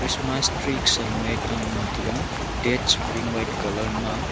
christmas tree saluye ta ngantaga thats pin white colour ma.